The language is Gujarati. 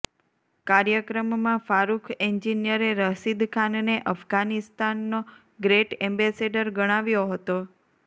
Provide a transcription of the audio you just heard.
કાર્યક્રમમાં ફારુખ એન્જિનિયરે રશીદ ખાનને અફઘાનિસ્તાનનો ગ્રેટ એમ્બેસેડર ગણાવ્યો હતો